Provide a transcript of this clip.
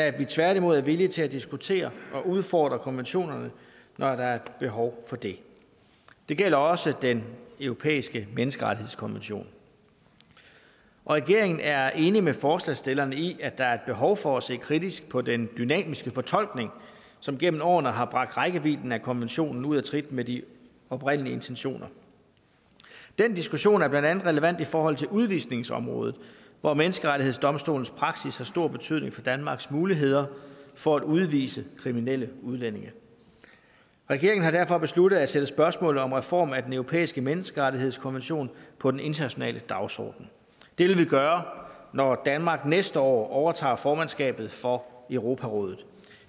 at vi tværtimod er villige til at diskutere og udfordre konventionerne når der er behov for det det gælder også den europæiske menneskerettighedskonvention regeringen er enig med forslagsstillerne i at der er et behov for at se kritisk på den dynamiske fortolkning som gennem årene har bragt rækkevidden af konventionen ud af trit med de oprindelige intentioner den diskussion er blandt andet relevant i forhold til udvisningsområdet hvor menneskerettighedsdomstolens praksis har stor betydning for danmarks muligheder for at udvise kriminelle udlændinge regeringen har derfor besluttet at sætte spørgsmålet om en reform af den europæiske menneskerettighedskonvention på den internationale dagsorden det vil vi gøre når danmark næste år overtager formandskabet for europarådet